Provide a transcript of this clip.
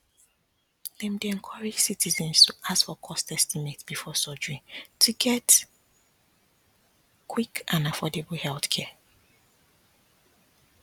dem dey encourage citizens to ask for cost estimate before surgery to get quick and affordable healthcare